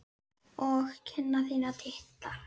Og kinnar þínar titra.